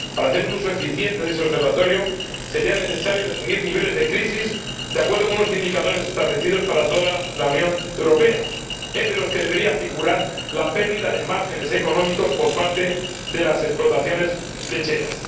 Para hacer un uso eficiente de ese observatorio sería necesario definir niveles de crisis, de acuerdo con los indicadores establecidos para toda la Unión Europea, entre los que debería figurar la pérdida de márgenes económicos por parte de las explotaciones lecheras.